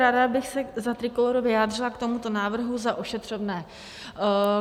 Ráda bych se za Trikolóru vyjádřila k tomuto návrhu za ošetřovné.